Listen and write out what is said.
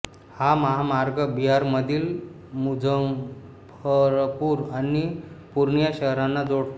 हा महामार्ग बिहारमधील मुझफ्फरपूर आणि पूर्णिया शहरांना जोडतो